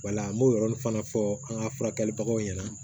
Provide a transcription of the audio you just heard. Wala an b'o yɔrɔnin fana fɔ an ka furakɛlibagaw ɲɛna